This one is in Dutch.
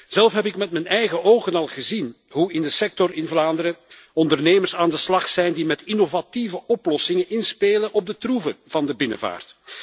Zelf heb ik met m'n eigen ogen al gezien hoe in de sector in Vlaanderen ondernemers aan de slag zijn die met innovatieve oplossingen inspelen op de troeven van de binnenvaart.